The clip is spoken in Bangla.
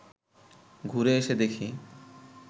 ঘুরে এসে দেখি